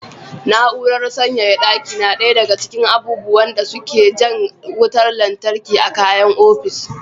Na'urar sanyaya ɗaki na ɗaya daga cikin abubuwan da suke jan wutar lantarki a kayan ofis.